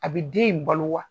A bi den in balo wa?